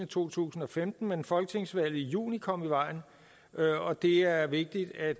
to tusind og femten men folketingsvalget i juni kom i vejen og det er vigtigt at